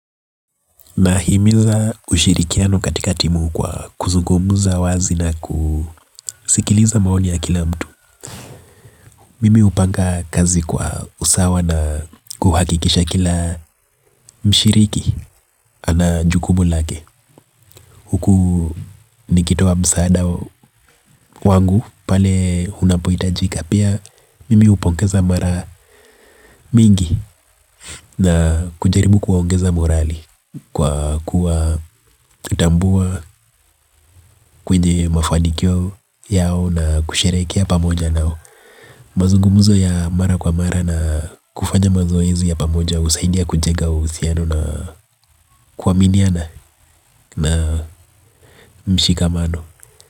Nahimiza ushirikiano katika timu kwa kuzugumza wazi na kusikiliza maoni ya kila mtu. Mimi hupanga kazi kwa usawa na kuhakikisha kila mshiriki ana jukumu lake huku nikitoa msaada wangu pale unapohitajika. Pia mimi hupongeza mara mingi na kujaribu kuwaongeza morali kwa kuatambua kwenye mafanikio yao na kusherekea pamoja nao. Mazungumzo ya mara kwa mara na kufanya mazoezi ya pamoja husaidia kujenga uhusiano na kuaminiana na mshikamano.